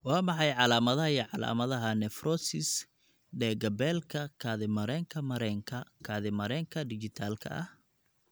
Waa maxay calaamadaha iyo calaamadaha nephrosis dhega-beelka kaadi mareenka mareenka kaadi mareenka dhijitaalka ah?